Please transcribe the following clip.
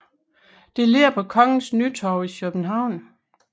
Det ligger på Kongens Nytorv i København